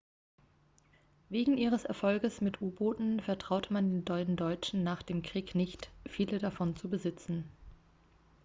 wegen ihres erfolges mit u-booten vertraute man den deutschen nach dem krieg nicht viele davon zu besitzen